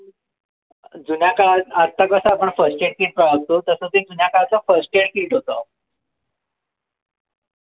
जुन्या काळात आजकाल कस आपण first aid kit असतो तस ते जुन्या काळाच first aid kit होत